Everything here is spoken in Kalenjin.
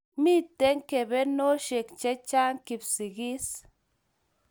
Mito kebenoshek chechang Kipsigis